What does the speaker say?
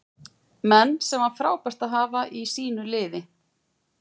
Menn sem var frábært að hafa í sínu liði.